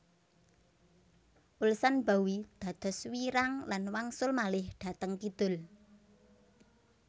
Ulsanbawi dados wiirang lan wangsul malih dhateng kidul